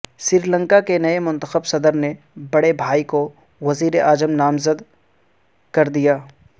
سری لنکا کے نئے منتخب صدر نے بڑے بھائی کو وزیر اعظم نامزد کر دیا